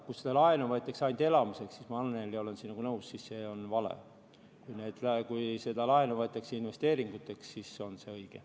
Kui seda laenu võetakse ainult elamiseks, siis ma, Annely, olen sinuga nõus, et see on vale, aga kui seda laenu võetakse investeeringuteks, siis on see õige.